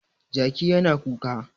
Jaki yana kuka.